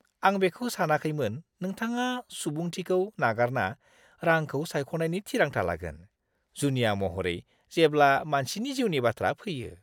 आं बेखौ सानाखैमोन नोंथाङा सुबुंथिखौ नागारना रांखौ सायख'नायनि थिरांथा लागोन, जुनिया महरै जेब्ला मानसिनि जिउनि बाथ्रा फैयो!